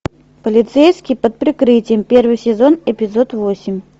полицейский под прикрытием первый сезон эпизод восемь